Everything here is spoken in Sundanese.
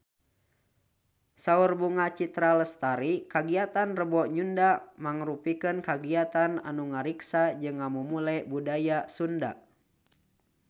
Saur Bunga Citra Lestari kagiatan Rebo Nyunda mangrupikeun kagiatan anu ngariksa jeung ngamumule budaya Sunda